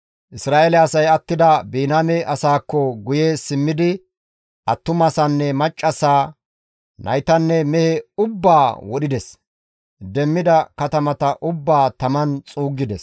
Isra7eele asay attida Biniyaame asaakko guye simmidi, attumasanne maccassaa, naytanne mehe ubbaa wodhides; demmida katamata ubbaa taman xuuggides.